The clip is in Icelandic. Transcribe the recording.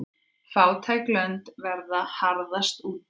Fátæk lönd verða harðast úti.